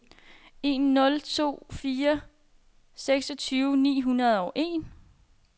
en nul to fire seksogtyve ni hundrede og en